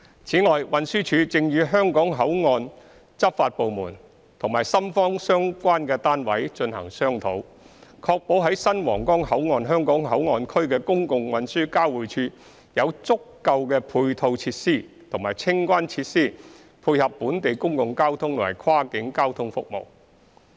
此外，運輸署正與香港口岸執法部門和深方相關單位進行商討，確保在新皇崗口岸香港口岸區的公共運輸交匯處有足夠的配套設施和清關設施配合本地公共交通和跨境交通服務。